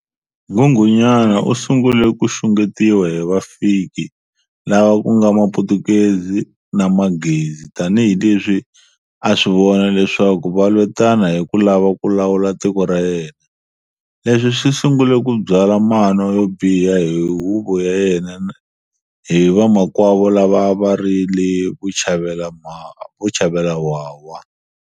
Nghunghunyana u sungule ku xunghetiwa hi vafiki lava kunga maphutukezi na maghezi tanihileswi a a swivona leswaku va lwetana hi ku lava ku lawula tiko ra yena. Leswi swi sungule ku byala mano yobiha hi huvo ya yena na hi vamakwavo lava a va rile vuchavelawhawha.